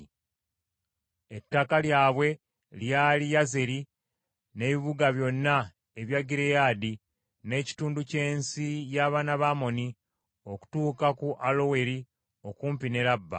Ettaka lyabwe lyali Yazeri, n’ebibuga byonna ebya Gireyaadi, n’ekitundu ky’ensi y’abaana ba Amoni, okutuuka ku Aloweri okumpi ne Labba,